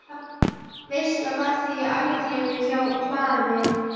Veisla var þá í algleymi á hlaði.